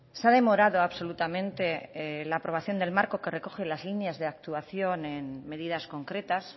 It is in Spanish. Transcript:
se ha demorado absolutamente la aprobación del marco que recoge las líneas de actuación en medidas concretas